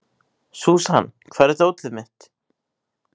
Súsan, hvar er dótið mitt?